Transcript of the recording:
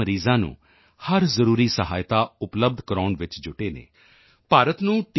ਮਰੀਜ਼ਾਂ ਨੂੰ ਹਰ ਜ਼ਰੂਰੀ ਸਹਾਇਤਾ ਉਪਲਬਧ ਕਰਵਾਉਣ ਚ ਜੁਟੇ ਹਨ ਭਾਰਤ ਨੂੰ ਟੀ